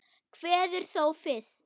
Kveður þó fyrst.